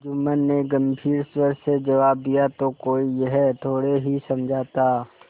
जुम्मन ने गम्भीर स्वर से जवाब दियातो कोई यह थोड़े ही समझा था